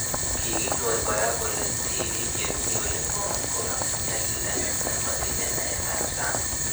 Kikinyor kora kole tippik che mii ole ng'om ko amuu nyalilda anan matinye naet ab sang'